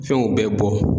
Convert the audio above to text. Fɛnw bɛɛ bɔ